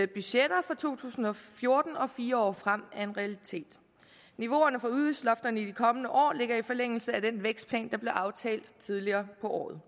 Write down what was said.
budgetter for to tusind og fjorten og fire år frem er en realitet niveauerne for udgiftslofterne i de kommende år ligger i forlængelse af den vækstplan der blev aftalt tidligere på året